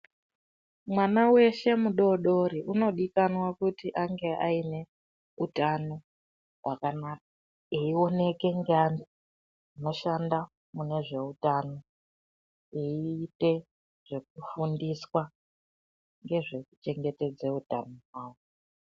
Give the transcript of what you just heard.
Mwana weshe mudodori undikanwa kuti ange ane utano wakanaka eioneka ngevandu vanoshanda munezveutano eita zvekufundiswa ngezvekuchengetedza utano hwake